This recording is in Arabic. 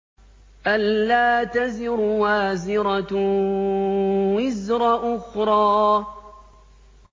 أَلَّا تَزِرُ وَازِرَةٌ وِزْرَ أُخْرَىٰ